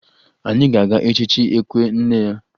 Anyị ga-aga echichi ekwe nne ya